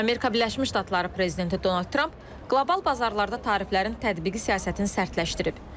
Amerika Birləşmiş Ştatları prezidenti Donald Tramp qlobal bazarlarda tariflərin tətbiqi siyasətini sərtləşdirib.